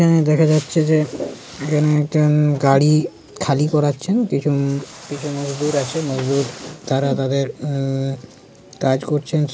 এখানে দেখা যাচ্ছে যে-- এখানে একটা গাড়ি খালি করাচ্ছেন কিছু কিছু মজদুর আছে মজদুর আছে তারা তাদের কাজ করছেন।